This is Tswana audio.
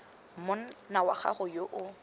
monna wa gagwe yo o